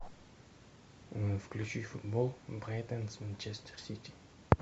включи футбол брайтон с манчестер сити